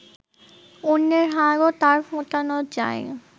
অন্যের হাড়ও তাঁর ফোটানো চাই